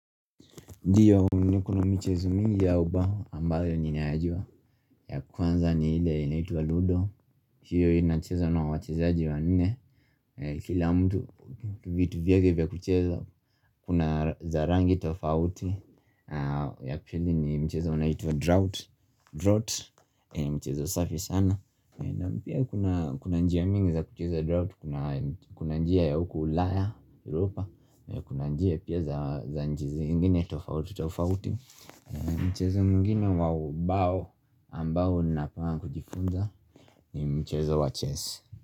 Ndiyo ni kuna michezo mingi ya uba ambayo ninayajua, ya kwanza ni ile inaitwa Ludo hiyo inachezwa na wachezaji wanne na Kila mtu vitu vyake vya kucheza Kuna za rangi tofauti ya pili ni mchezo unaitwa drought, Drought mchezo safi sana na pia kuna kuna njia mingi za kucheza drought, Kuna njia ya uku ulaya Europa Kuna njia pia za inji zingine tofautofauti Mchezo mwingine wa ubao ambao napanga kujifunza ni mchezo wa chess.